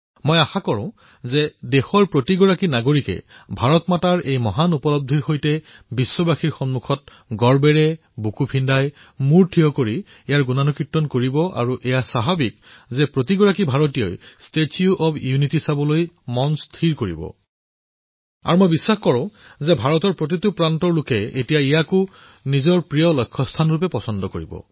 মই আশা প্ৰকাশ কৰিছোঁ যে দেশৰ প্ৰতিজন নাগৰিকে ধৰিত্ৰীমাতৃৰ এই মহান উপলব্ধিৰ সৈতে বিশ্বৰ সন্মুখত গৰ্বৰ সৈতে বুকু ফুলাই মূৰ থিয় কৰি ইয়াৰ গৌৰৱ গান কৰিব আৰু স্বাভাৱিকতে প্ৰত্যেকজন ভাৰতীয়ই এই ষ্টেচু অব্ ইউনিটী প্ৰত্যক্ষ কৰিবলৈ বিচাৰিব আৰু মোৰ বিশ্বাস যে ভাৰতৰ প্ৰতিটো কোণৰ লোকে এতিয়া এই স্থানকো প্ৰিয় স্থানৰ হিচাপত বাচনি কৰিব